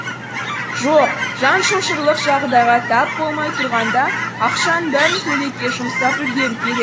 жоқ жан шошырлық жағдайға тап болмай тұрғанда ақшаның бәрін көйлекке жұмсап үлгеру керек